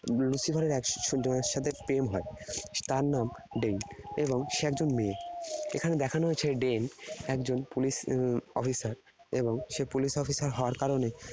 Lucifer এর একজনের সাথে প্রেম হয়। তার নাম Dane । এবং সে একজন মেয়ে। এখানে দেখানো হয়েছে Dane একজন police officer । এবং সে police officer হওয়ার কারণে